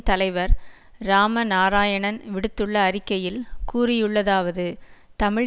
தலைவர் இராம நாராயணன் விடுத்துள்ள அறிக்கையில் கூறியுள்ளதாவது தமிழ்